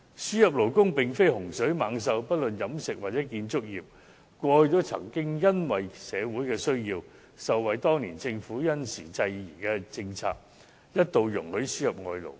輸入勞工並非洪水猛獸，無論飲食業或建築業，過去也曾因社會需要而受惠於當年政府因時制宜的政策，一度容許輸入外勞。